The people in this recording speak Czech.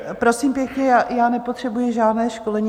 Prosím pěkně, já nepotřebuji žádné školení.